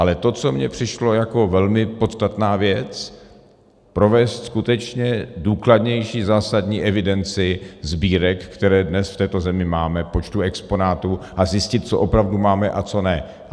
Ale to, co mně přišlo jako velmi podstatná věc, provést skutečně důkladnější, zásadnější evidenci sbírek, které dnes v této zemi máme, počtu exponátů a zjistit, co opravdu máme a co ne.